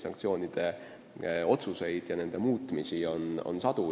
Neid otsuseid ja nende muutmisi on sadu.